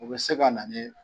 U bɛ se ka na ni